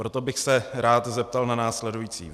Proto bych se rád zeptal na následující.